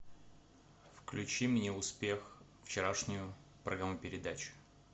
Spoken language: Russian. включи мне успех вчерашнюю программу передач